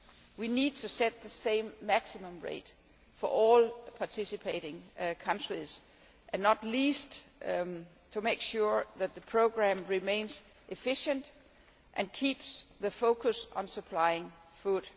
We need to set the same maximum rate for all participating countries, not least to make sure that the programme remains efficient and keeps the focus on supplying food.